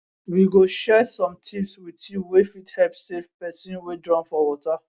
we go share some tips wit you wey fit help save pesin wey drown for water